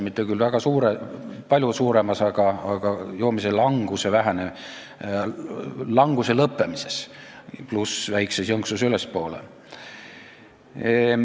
Mitte küll palju suuremas, aga joomise languse lõppemises, pluss väikses jõnksus ülespoole.